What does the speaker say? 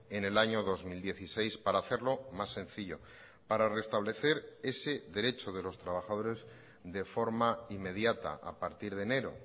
en el año dos mil dieciséis para hacerlo más sencillo para restablecer ese derecho de los trabajadores de forma inmediata a partir de enero